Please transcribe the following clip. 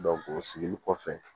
o sigili kɔfɛ